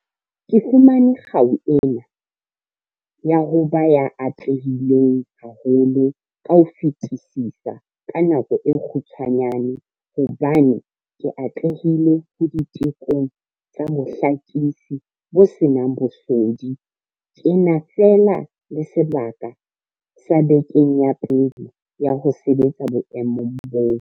Ke fumane kgau ena ka ho ba ya atlehileng haholo ka ho fetisisa ka nako e kgutshwanyane hobane ke atlehile ho ditekong tsa bohlakisi bo se nang bosodi ke na fela le sebaka sa bekeng ya pele ya ho sebetsa boemong boo.